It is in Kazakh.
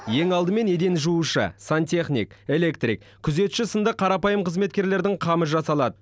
ең алдымен еден жуушы сантехник электрик күзетші сынды қарапайым қызметкерлердің қамы жасалады